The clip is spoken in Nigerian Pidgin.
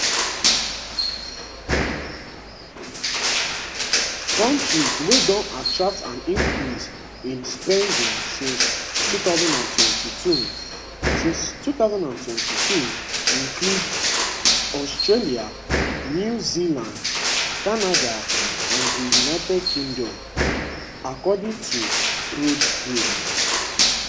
kontris wey don attract an increase in spending since 2022 since 2022 include australia new zealand canada and the uk according to prodpro